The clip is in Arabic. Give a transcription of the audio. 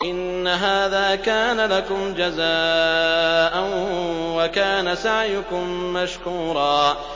إِنَّ هَٰذَا كَانَ لَكُمْ جَزَاءً وَكَانَ سَعْيُكُم مَّشْكُورًا